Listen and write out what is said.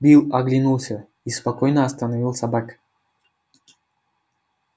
билл оглянулся и спокойно остановил собак